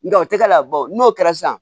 Nga o tɛ k'a la n'o kɛra sisan